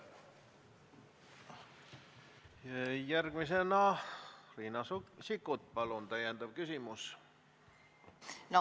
Järgmisena Riina Sikkut, palun, täiendav küsimus!